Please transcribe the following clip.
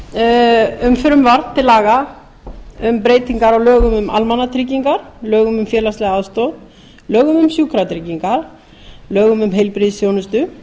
um frumvarp til laga um breytingar á lögum um almannatryggingar lögum um félagslega aðstoð lögum um sjúkratryggingar lögum um heilbrigðisþjónustu